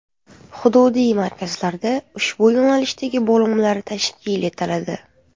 Hududiy markazlarda ushbu yo‘nalishdagi bo‘limlar tashkil etiladi.